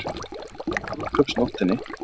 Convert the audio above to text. Létust á brúðkaupsnóttinni